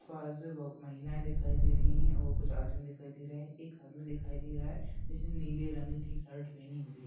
बहुत महिला दिखाई दे रही है और कुछ आदमी दिखाई दे रहे है एक आदमी दिखाई दे रहा जिसने नीले रंग की शर्ट पहनी हुई है।